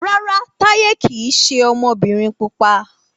Rárá Táyé kìí ṣe ọmọbìnrin pupa